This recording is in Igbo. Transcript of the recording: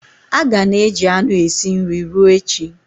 A ga-ana eji anụ esi nri ruo echi.